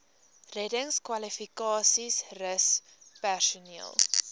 reddingskwalifikasies rus personeel